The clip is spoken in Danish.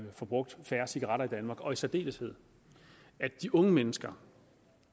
forbrugt færre cigaretter i danmark og i særdeleshed de unge mennesker